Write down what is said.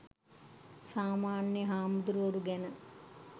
සාමාන්‍ය හාමුදුවරු ගැන